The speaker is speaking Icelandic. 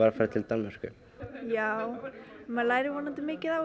farið til Danmerkur maður lærir vonandi mikið á